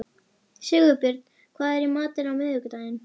Sigurbjörn, hvað er í matinn á miðvikudaginn?